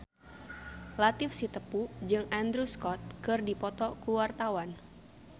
Latief Sitepu jeung Andrew Scott keur dipoto ku wartawan